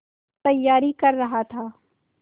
तैयारी कर रहा था